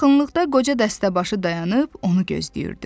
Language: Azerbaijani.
Yaxınlıqda qoca dəstəbaşı dayanıb onu gözləyirdi.